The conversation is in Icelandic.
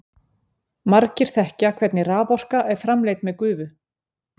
margir þekkja hvernig raforka er framleidd með gufu